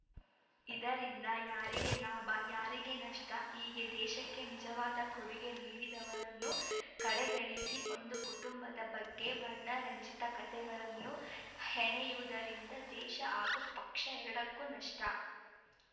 ಇದರಿಂದ ಯಾರಿಗೆ ಲಾಭ ಯಾರಿಗೆ ನಷ್ಟ ಹೀಗೆ ದೇಶಕ್ಕೆ ನಿಜವಾದ ಕೊಡುಗೆ ನೀಡಿದವರನ್ನು ಕಡೆಗಣಿಸಿ ಒಂದು ಕುಟುಂಬದ ಬಗ್ಗೆ ವರ್ಣರಂಜಿತ ಕತೆಗಳನ್ನು ಹೆಣೆಯುವುದರಿಂದ ದೇಶ ಹಾಗೂ ಪಕ್ಷ ಎರಡಕ್ಕೂ ನಷ್ಟ